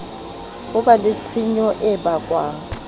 ba le tshenyo e bakwang